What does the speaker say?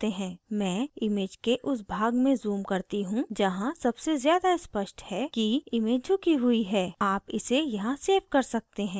मैं image के उस भाग में zoom करती you जहाँ सबसे ज़्यादा स्पष्ट है कि image झुकी हुई है आप इसे यहाँ सेव कर सकते हैं